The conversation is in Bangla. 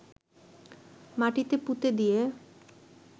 মাটিতে পুঁতে দিয়ে